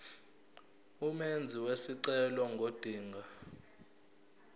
umenzi wesicelo ngodinga